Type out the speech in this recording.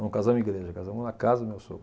Não casamos em igreja, casamos na casa do meu sogro.